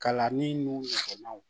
Kalanni n'u fɛkanaw